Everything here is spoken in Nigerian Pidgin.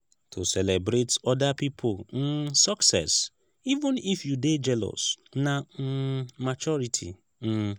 to celebrate oda pipo um success even if you dey jealous na um maturity. um